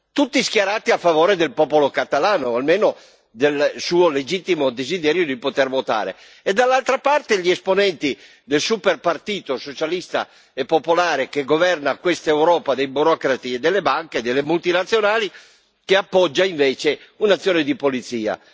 tutti schierati a favore del popolo catalano, o almeno del suo legittimo desiderio di poter votare e, dall'altra, gli esponenti del super partito socialista e popolare che governa questa Europa dei burocrati, delle banche e delle multinazionali, che appoggia invece un'azione di polizia.